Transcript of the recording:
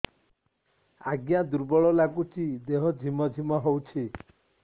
ଆଜ୍ଞା ଦୁର୍ବଳ ଲାଗୁଚି ଦେହ ଝିମଝିମ ହଉଛି